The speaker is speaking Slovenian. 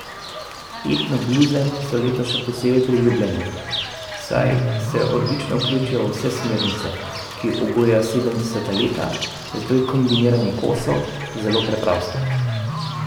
Etno bluze so letos še posebno priljubljene, saj se odlično vključijo v vse smernice, ki obujajo sedemdeseta leta, zato je kombiniranje kosov zelo preprosto.